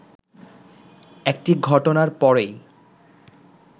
একটি ঘটনার পরই